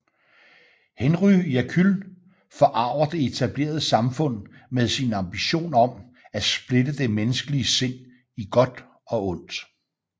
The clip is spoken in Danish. Henry Jekyll forarger det etablerede samfund med sin ambition om at splitte det menneskelige sind i godt og ondt